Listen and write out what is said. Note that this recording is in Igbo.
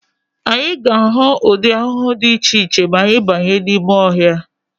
Anyị ga-ahụ ụdị ahụhụ dị iche iche ma anyị banye n'ime ọhịa.